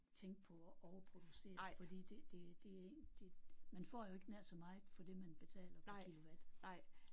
Tænke på at overproducere fordi det det det det man får jo ikke nær så meget for det man betaler per kilowatt